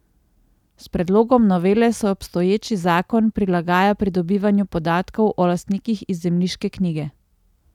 S predlogom novele se obstoječi zakon prilagaja pridobivanju podatkov o lastnikih iz zemljiške knjige.